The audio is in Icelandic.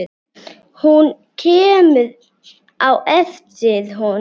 Hún kemur á eftir honum.